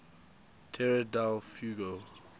tierra del fuego